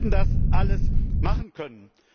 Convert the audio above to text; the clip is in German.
ein Weg. Wir hätten das alles machen